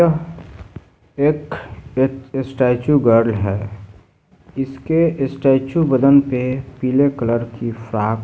यह एक स्टे-स्टैचू गर्ल है इसके स्टैचू बदन पे पीले कलर की फ्रॉक --